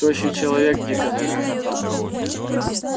тощий человек дико захохотал